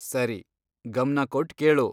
ಸರಿ, ಗಮ್ನ ಕೊಟ್ ಕೇಳು.